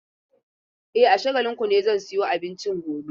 E, a Shagalinku ne zan sayo abincin gobe.